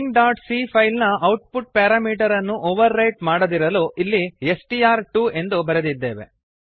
stringಸಿಎ file ನ output parameter ಅನ್ನು overwrite ಮಾಡದಿರಲು ಇಲ್ಲಿ ಸ್ಟ್ರ್2 ಎಂದು ಬರೆದಿದ್ದೇವೆ